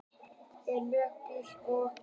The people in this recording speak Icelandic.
Er mjög blíð og góð.